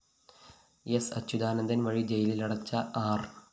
സ്‌ അച്യുതാന്ദന്‍ വഴി ജയിലിലടച്ച ആര്‍